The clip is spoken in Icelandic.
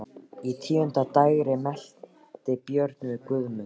Á tíunda dægri mælti Björn við Guðmund: